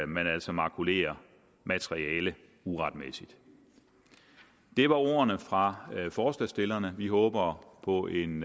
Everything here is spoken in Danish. man altså makulerer materiale uretmæssigt det var ordene fra forslagsstillerne vi håber på en